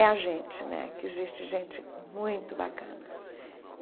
É a gente né, que existe gente muito bacana.